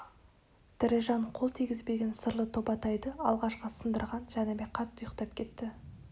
тірі жан қол тигізбеген сырлы тобатайды алғашқы сындырған жәнібек қатты ұйықтап кетті